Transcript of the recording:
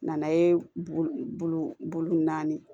Nana ye bulu bulu naani